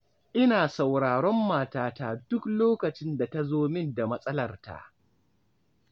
Ina sauraron matata duk lokacin da ta zo min da matsalarta